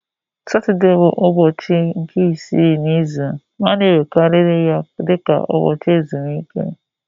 Satọde bụ ụbọchị nke isii n'izu ma a na-ewerekarị ya dị ka ụbọchị ezumike